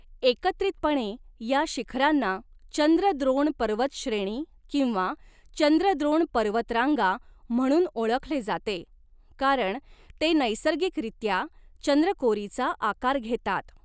एकत्रितपणे, या शिखरांना चंद्रद्रोण पर्वत श्रेणी किंवा चंद्रद्रोण पर्वत रांगा म्हणून ओळखले जाते, कारण ते नैसर्गिकरित्या चंद्रकोरीचा आकार घेतात.